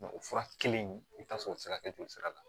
o fura kelen in i bi taa sɔrɔ o ti se ka kɛ joli sira la